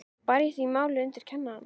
Bar ég því málið undir kennarann.